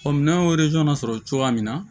minɛn y'o sɔrɔ cogoya min na